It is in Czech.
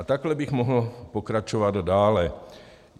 A takhle bych mohl pokračovat dále.